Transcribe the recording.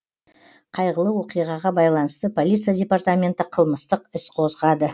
қайғылы оқиғаға байланысты полиция департаменті қылмыстық іс қозғады